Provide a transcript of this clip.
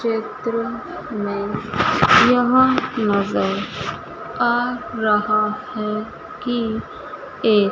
चित्र मे यह नजर आ रहा है कि ए--